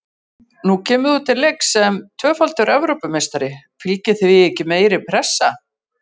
Nú kemur þú til leiks sem tvöfaldur Evrópumeistari, fylgir því ekki meiri pressa?